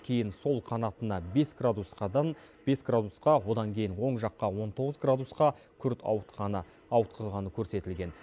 кейін сол қанатына бес градусқа одан кейін оң жаққа он тоғыз градусқа күрт ауытқығаны көрсетілген